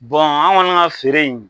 an kɔni ka feere in